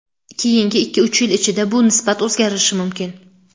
Keyingi ikki-uch yil ichida bu nisbat o‘zgarishi mumkin.